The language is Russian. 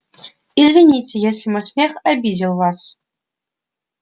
извините если мой смех обидел вас